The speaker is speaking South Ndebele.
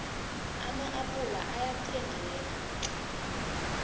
ama appula ayathengeka tlhe